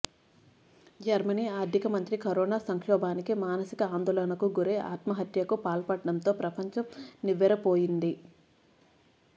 Germany ఆర్ధిక మంత్రి corona సంక్షోభానికి మానసిక ఆందోళనకు గురై ఆత్మహత్యకు పాల్పడటంతో ప్రపంచం నివ్వెరపోయింది